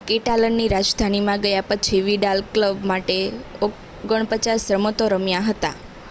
કેટાલનની રાજધાનીમાં ગયા પછી વિડાલ ક્લબ માટે 49 રમતો રમ્યો હતા